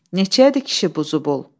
Neçəyədir kişi bu zubul?